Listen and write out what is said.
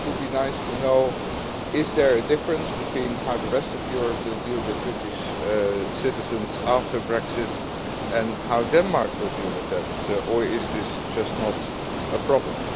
It would be nice to know if there is a difference between how the rest of Europe will deal with British citizens after Brexit and how Denmark will deal with them, or is this just not a problem?